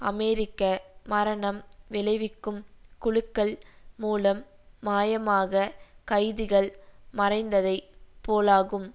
அமெரிக்க மரணம் விளைவிக்கும் குழுக்கள் மூலம் மாயமாக கைதிகள் மறைந்ததை போலாகும்